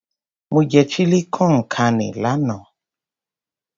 Mo jẹ Chili con carne lánàá.